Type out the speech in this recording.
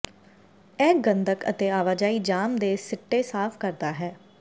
ਇਹ ਗੰਧਕ ਅਤੇ ਆਵਾਜਾਈ ਜਾਮ ਦੇ ਸਿੱਟੇ ਸਾਫ਼ ਕਰਦਾ ਹੈ